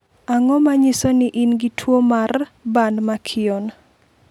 Ang'o ma nyiso ni in gi tuwo mar Burn Mckeown?